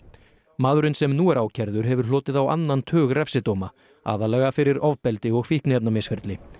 maðurinn sem nú er ákærður hefur hlotið á annan tug refsidóma aðallega fyrir ofbeldi og fíkniefnamisferli